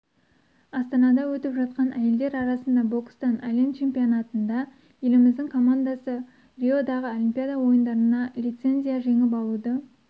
астанада өтіп жатқан әйелдер арасында бокстан әлем чемпионатында еліміздің командасы риодағы олимпиада ойындарына лицензия жеңіп алуды